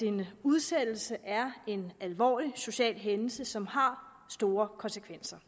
en udsættelse er en alvorlig social hændelse som har store konsekvenser